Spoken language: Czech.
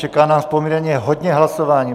Čeká nás poměrně hodně hlasování.